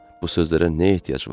Bu sözlərə nə ehtiyac var?